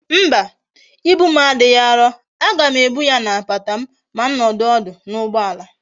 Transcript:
Mba, ibu m adighi aro, a gam ebu ya na my lap ma m nodu odu na ugboala